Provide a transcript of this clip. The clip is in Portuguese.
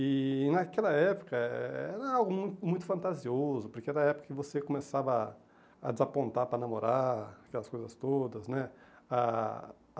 E naquela época era algo mui muito fantasioso, porque era a época que você começava a desapontar para namorar, aquelas coisas todas, né? Ah